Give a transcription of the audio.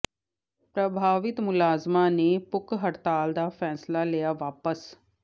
ਪ੍ਰਭਾਵਿਤ ਮੁਲਾਜ਼ਮਾਂ ਨੇ ਭੁੱਖ ਹੜਤਾਲ ਦਾ ਫ਼ੈਸਲਾ ਲਿਆ ਵਾਪਸ